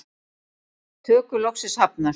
Tökur loksins hafnar